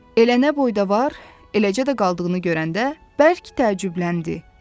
Elə nə boyda var, eləcə də qaldığını görəndə bərk təəccübləndi.